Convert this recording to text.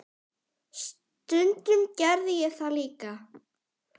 Stundum gerði ég það líka.